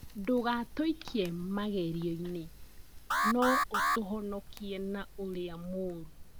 Ndũgatũikie mageirioinĩ no ũtũhonokie na ũrĩa mũru